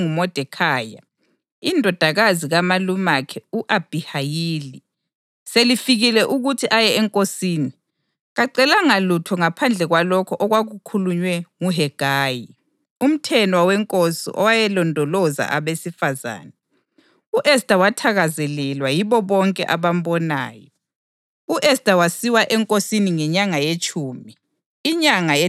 Kwathi lapho ithuba lika-Esta (intombazana eyayondliwe nguModekhayi, indodakazi kamalumakhe u-Abhihayili) selifikile ukuthi aye enkosini, kacelanga lutho ngaphandle kwalokho okwakukhulunywe nguHegayi, umthenwa wenkosi owayelondoloza abesifazane. U-Esta wathakazelelwa yibo bonke abambonayo.